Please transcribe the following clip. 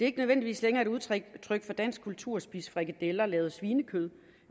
ikke nødvendigvis længere et udtryk for dansk kultur at spise frikadeller lavet af svinekød